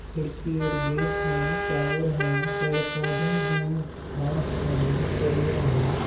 खिड़की और गेट हैं टॉवर हैं पेड़ पौधे है घास हैं हरिया हैं।